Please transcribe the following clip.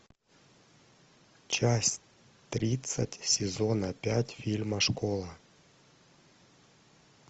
часть тридцать сезона пять фильма школа